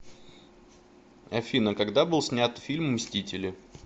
афина когда был снят фильм мстители